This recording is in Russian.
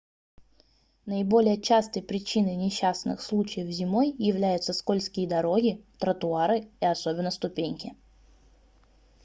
наиболее частой причиной несчастных случаев зимой являются скользкие дороги тротуары и особенно ступеньки